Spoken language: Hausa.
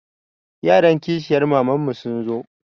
Yaran kishiyar mamanmu sun zo.